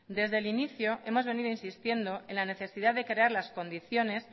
desde el inicio hemos venido insistiendo en la necesidad de crear las condiciones